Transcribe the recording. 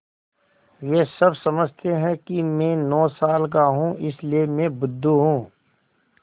वे सब समझते हैं कि मैं नौ साल का हूँ इसलिए मैं बुद्धू हूँ